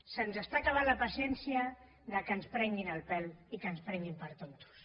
se’ns acaba la paciència que ens prenguin el pèl i que ens prenguin per tontos